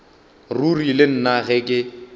ruri le nna ge ke